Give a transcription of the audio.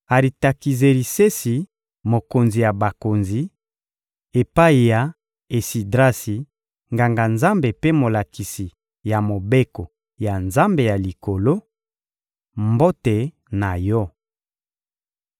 «Aritakizerisesi, mokonzi ya bakonzi; Epai ya Esidrasi, Nganga-Nzambe mpe molakisi ya Mobeko ya Nzambe ya Likolo: Mbote na yo!